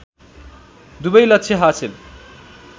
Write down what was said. दुबै लक्ष्य हासिल